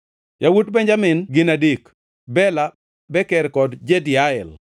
Yawuot Benjamin ne gin adek: Bela, Beker kod Jediael.